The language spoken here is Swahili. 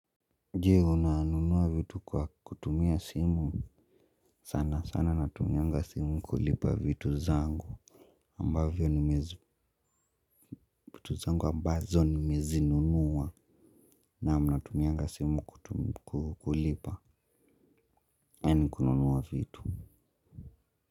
Jee unanunua vitu kwa kutumia simu sanasana natumianga simu kulipa vitu zangu ambavyo vitu zangu ambazo nimezinunua na mnamnatumianga simu kulipa and kununua vitu.